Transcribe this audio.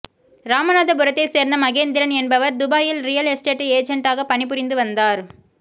ராமநாதபுரத்தைச் சேர்ந்த மகேந்திரன் என்பவர் துபாயில் ரியல் எஸ்டேட் ஏஜெண்டாக பணிபுரிந்து வந்தார்